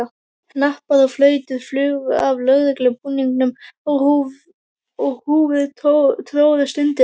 Hnappar og flautur flugu af lögreglubúningum og húfur tróðust undir.